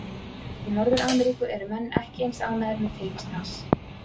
Í Norður-Ameríku eru menn ekki eins ánægðir með tilvist hans.